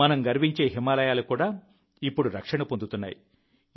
మనం గర్వించే హిమాలయాలు కూడా ఇప్పుడు రక్షణ పొందుతున్నాయి